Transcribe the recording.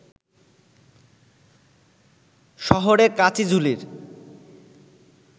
শহরের কাচিঝুলির